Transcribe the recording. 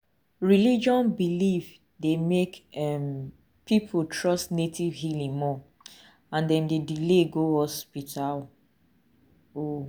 religion belief dey make um people trust native healing more and dem dey delay go hospital. um